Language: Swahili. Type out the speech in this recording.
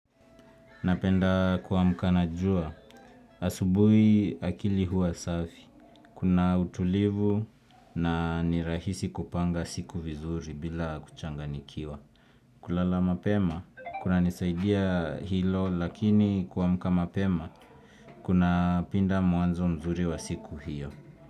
Napenda kuamka na jua. Asubuhi akili huwa safi. Kuna utulivu na ni rahisi kupanga siku vizuri bila kuchanganyikiwa. Kulala mapema, kunanisaidia hilo lakini kuamka mapema, kunapinda muanzo mzuri wa siku hiyo.